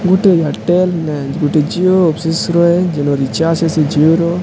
ଗୋଟେ ଆୟରଟେଲ ନେ ଗୋଟେ ଝିଅ ଅଫିସ୍ ରେ ଜୀନା ରଚାର୍ଚ୍ଚ ଆସିଛ ସେ ଝିଅ ର।